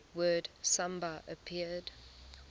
word samba appeared